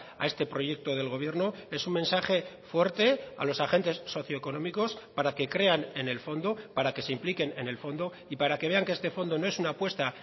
a este proyecto del gobierno es un mensaje fuerte a los agentes socio económicos para que crean en el fondo para que se impliquen en el fondo y para que vean que este fondo no es una apuesta